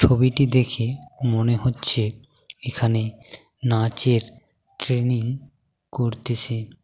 ছবিটি দেখে মনে হচ্ছে এখানে নাচের ট্রেনিং করতেসে।